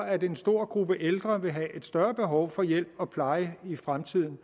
at en stor gruppe ældre vil have et større behov for hjælp og pleje i fremtiden